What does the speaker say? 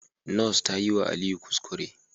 Nurse tayiwa Aliyu kuskure